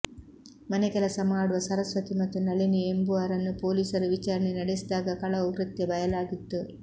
ಮನೆ ಕೆಲಸ ಮಾಡುವ ಸರಸ್ವತಿ ಮತ್ತು ನಳಿನಿ ಎಂಬುವರನ್ನು ಪೊಲೀಸರು ವಿಚಾರಣೆ ನಡೆಸಿದಾಗ ಕಳವು ಕೃತ್ಯ ಬಯಲಾಗಿತ್ತು